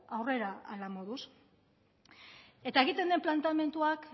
aurrera hala moduz eta egiten den planteamenduak